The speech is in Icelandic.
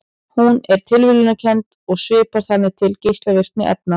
Hún er tilviljunarkennd og svipar þannig til geislavirkni efna.